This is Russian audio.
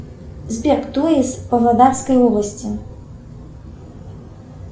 сбер кто из павлодарской области